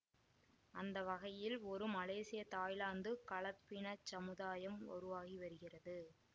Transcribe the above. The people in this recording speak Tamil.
அந்த வகையில் ஒரு மலேசிய தாய்லாந்து கலப்பினச் சமுதாயம் உருவாகி வருகிறது